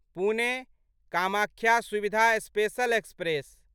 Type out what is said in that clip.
Pune Kamakhya Suvidha special express